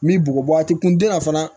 Me bɔgɔ a t'i kun den na fana